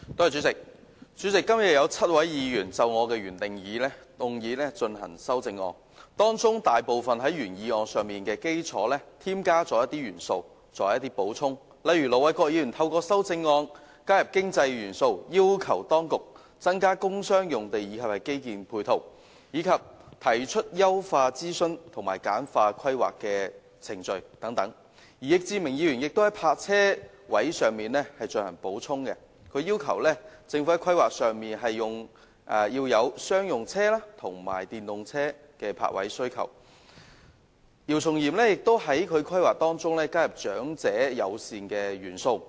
主席，今天有7位議員就我的原議案提出修正案，大部分都是在原議案的基礎上添加一些元素或補充，例如：盧偉國議員的修正案加入經濟元素，要求當局增加工商用地及基建配套，以及提出優化諮詢制度及簡化規劃程序等；易志明議員就泊車位問題提出修正案，要求政府在規劃上要有商用車及電動車的泊位需求；姚松炎議員則在規劃中加入長者友善的元素。